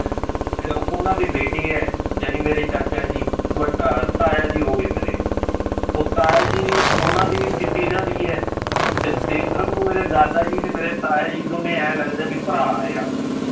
ਉਹਨਾਂ ਦੇ ਬੇਟੇ ਹੈ ਜਾਣੀ ਮੇਰੇ ਚਾਚਾ ਜੀ ਤਾਇਆ ਜੀ ਹੋ ਗਏ ਮੇਰੇ ਉਹ ਤਾਇਆ ਜੀ ਉਹਨਾਂ ਦੀ ਵੀ ਚਿੱਟੀ ਦਾੜੀ ਹੈ ਤੇ ਦੇਖਣ ਨੂੰ ਮੇਰੇ ਦਾਦਾ ਜੀ ਤੇ ਮੇਰੇ ਤਾਇਆ ਜੀ ਦੋਨੇਂ ਇਉਂ ਲੱਗਦੇ ਆ ਵੀ ਭਰਾ ਆ